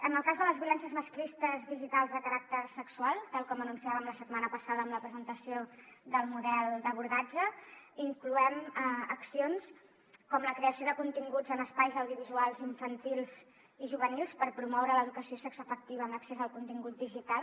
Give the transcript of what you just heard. en el cas de les violències masclistes digitals de caràcter sexual tal com anunciàvem la setmana passada amb la presentació del model d’abordatge hi incloem accions com la creació de continguts en espais audiovisuals infantils i juvenils per promoure l’educació sexoafectiva en l’accés al contingut digital